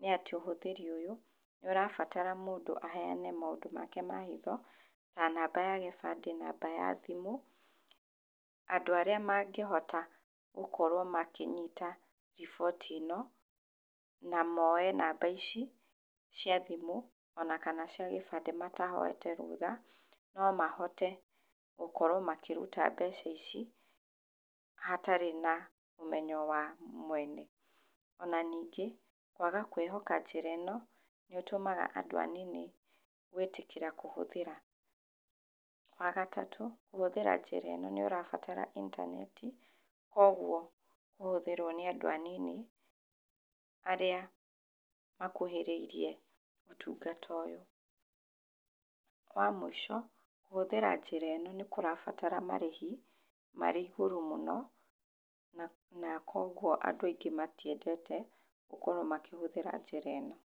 nĩ atĩ ũhũthĩri ũyũ, nĩ ũrabatara mũndũ aheane maũndũ make ma hitho, ta namba ya gĩbandĩ, namba ya thimũ. Andũ arĩa mangĩhota gũkorwo makĩnyita riboti ĩno, na moye namba ici, cia thimũ, ona kana cia gĩbandĩ matahoete rũtha, no mahote gũkorwo makĩruta mbeca ici, hatarĩ na ũmenyo wa mwene. Ona ningĩ, kwaga kwĩhoka njĩra ĩno, nĩ ũtũmaga andũ anini gwĩtĩkĩra kũhũthĩra. Wa gatatũ, kũhũthĩra njĩra ĩno nĩ ũrabatara intaneti, kũguo kũhũthĩrwo nĩ andũ anini, arĩa makuhĩrĩirie ũtungata ũyũ. Wa mũico, kũhũthĩra njĩra ĩno nĩ kũrabatara marĩhi, marĩ igũrũ mũno, na na kũguo andũ aingĩ matiendete, gũkorwo makĩhũthĩra njĩra ĩno.